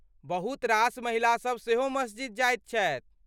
बहुत रास महिलासभ सेहो मस्जिद जाइत छथि।